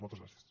moltes gràcies